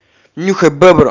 нюхай бебру